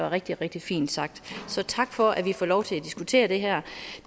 rigtig rigtig fint sagt så tak for at vi får lov til at diskutere det her